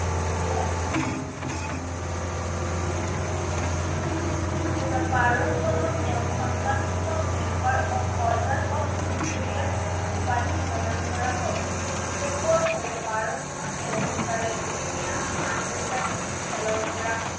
দুহেজাৰ বাৰ চনত তেওঁক সন্মানসূচক Members of order of Australia উপাধি প্ৰদান কৰা হয়। ডিচেম্বৰ দুহেজাৰ বাৰ চনত তেণ্ডলুকাৰে এদিনীয়া আন্তজাতিক খেলৰ পৰা